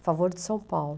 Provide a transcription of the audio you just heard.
a favor de São Paulo.